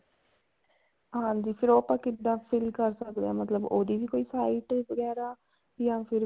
ਹਾਂਜੀ ਫ਼ੇਰ ਉਹ ਆਪਾਂ ਕਿੱਦਾਂ fill ਕਰ ਸਕਦੇ ਹਾਂ ਮਤਲਬ ਉਹਦੀ ਵੀ ਕੋਈ site ਵਗੈਰਾ ਜਾਂ ਫ਼ੇਰ